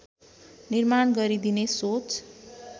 निर्माण गरिदिने सोच